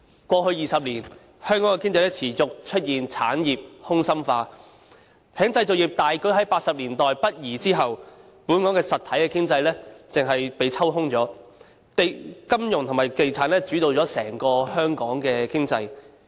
過去20年，香港的經濟持續出現產業空心化，在製造業大舉於1980年代北移後，本港的實體經濟便被抽空了，金融與地產繼而主導了整個香港經濟。